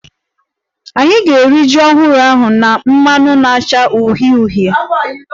Anyị ga-eri ji ọhụrụ ahụ na mmanụ na-acha uhie uhie